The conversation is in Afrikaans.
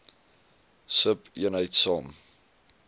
sub eenheid saam